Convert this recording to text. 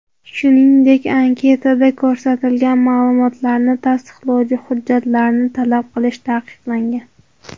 Shuningdek, anketada ko‘rsatilgan ma’lumotlarni tasdiqlovchi hujjatlarni talab qilish taqiqlangan.